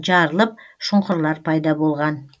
жарылып шұңқырлар пайда болған